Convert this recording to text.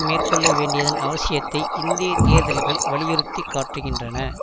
மேற்கொள்ள வேண்டியதன் அவசியத்தை இந்திய தேர்தல்கள் வலியுறுத்தி காட்டுகின்றன